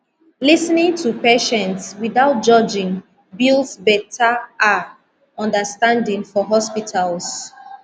lis ten ing to patients without judgment builds betta ah understanding for hospitals